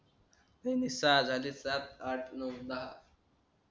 सहा झाले सात आठ नऊ दहा